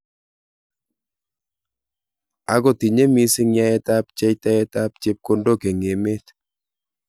Ako tinye missing yaet ab pchetaet ap chepkondok eng emet .